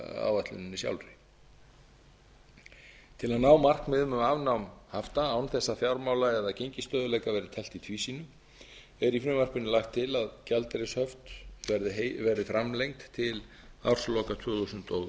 áætluninni sjálfri til að ná markmiðum um afnám hafta án þess að fjármála eða gengisstöðugleika verði teflt í tvísýnu er í frumvarpinu lagt til að gjaldeyrishöft verði framlengd til ársloka tvö þúsund og fimmtán